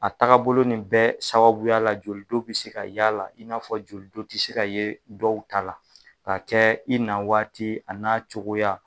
A taga bolo nin bɛɛ sababuya la joli don be se ka ye a la, i n'a fɔ joli don tɛ se ka ye dɔw ta la. Ka kɛ i na waati a n'a cogoya.